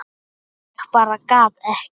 Ég bara gat ekki.